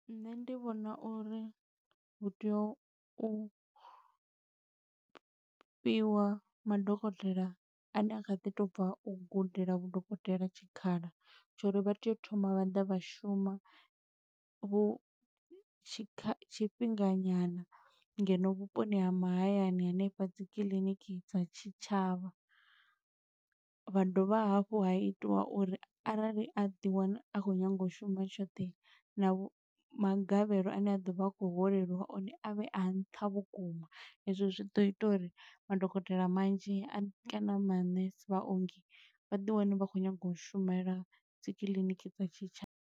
Nṋe ndi vhona uri hu tea u fhiwa madokotela ane a kha ḓi tou bva u gudela vhudokotela tshikhala, tsho uri vha tea u thoma vha ḓa vha shuma, vhu tshi tshifhinga nyana ngeno vhuponi ha mahayani hanefha dzi kiḽiniki dza tshitshavha. Vha dovha hafhu ha itiwa uri arali a ḓi wana a khou nyaga u shuma tshoṱhe, na vhu magavhelo ane a ḓo vha a khou holeliwa one a vhe a nṱha vhukuma. Ezwo zwi ḓo ita uri madokotela manzhi, a kana manese vhaongi, vha ḓi wane vha khou nyaga u shumela dzi kiḽiniki dza tshitshavha.